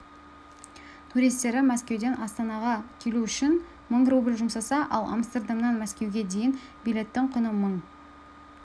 туристері мәскеуден астанаға келу үшін мың рубль жұмсаса ал амстердамнан мәскеуге дейінгі билеттің құны мың